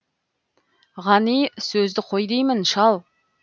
ғани сөзді қой деймін шал